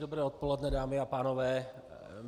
Dobré odpoledne, dámy a pánové.